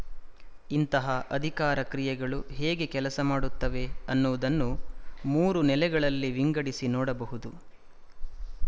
ಇಂತಹ ಅಧಿಕಾರ ಕ್ರಿಯೆಗಳು ಹೇಗೆ ಕೆಲಸ ಮಾಡುತ್ತವೆ ಅನ್ನುವುದನ್ನು ಮೂರು ನೆಲೆಗಳಲ್ಲಿ ವಿಂಗಡಿಸಿ ನೋಡಬಹುದು